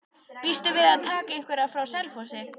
Býstu við að taka einhverja frá Selfossi?